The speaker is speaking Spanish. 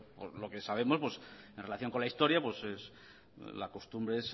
por lo que sabemos en relación con la historia la costumbre es